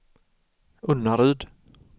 Unnaryd